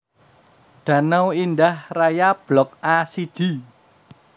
Danau Indah Raya Blok A siji